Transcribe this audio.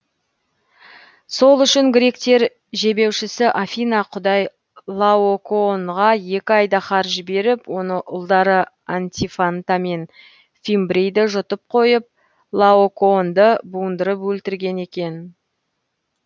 сол үшін гректер жебеушісі афина құдай лаокоонға екі айдаһар жіберіп оны ұлдары антифанта мен фимбрейді жұтып қойып лаокоонды буындырып өлтірген екен